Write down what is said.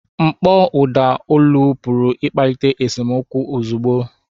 Mkpọ ụda olu pụrụ ịkpalite esemokwu ozugbo.